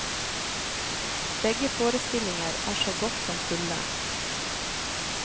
Begge forestillinger er så godt som fulle.